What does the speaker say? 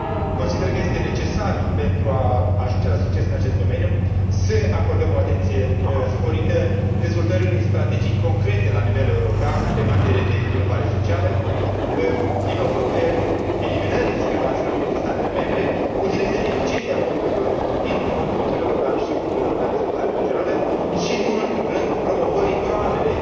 Consider că este necesar, pentru a ajunge la succes în acest domeniu, să acordăm o atenție sporită dezvoltării unei strategii concrete la nivel european pe materie de inovare socială, eliminării discrepanțelor dintre statele membre, utilizării eficiente a fondurilor din Fondul social european și Fondul european de dezvoltare regională și, nu în ultimul rând, promovării durabile